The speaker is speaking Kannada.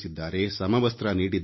ಸಮವಸ್ತ್ರ ನೀಡಿದ್ದಾರೆ